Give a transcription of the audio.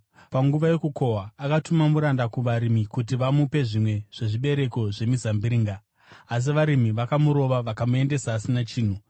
Panguva yokukohwa, akatuma muranda kuvarimi kuti vamupe zvimwe zvezvibereko zvemizambiringa. Asi varimi vakamurova vakamuendesa asina chinhu.